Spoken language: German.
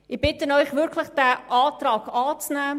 Ich bitte Sie wirklich, den Antrag anzunehmen.